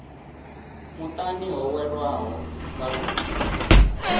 muṱani ho welwaho nga lufu